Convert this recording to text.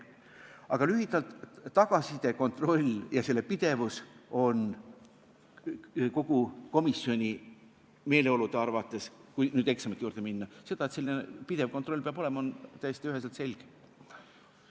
Aga lühidalt, tagasiside, kontrolli ja selle pidevuse asjus on komisjoni meeleolu see – kui nüüd eksamite juurde minna –, et pidev kontroll peab olema, see on täiesti üheselt selge.